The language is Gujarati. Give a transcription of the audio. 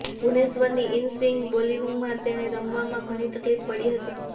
ભુવનેશ્વરની ઈનસ્વિંગ બોલિંગમાં તેને રમવામાં ઘણી તકલીફ પડી હતી